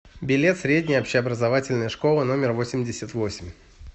билет средняя общеобразовательная школа номер восемьдесят восемь